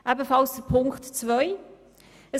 Ebenfalls Ziffer 2: